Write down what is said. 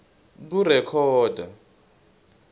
kurekhoda